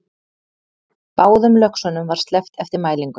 Báðum löxunum var sleppt eftir mælingu